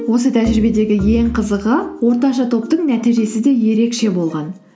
осы тәжірибедегі ең қызығы орташа топтың нәтижесі де ерекше болған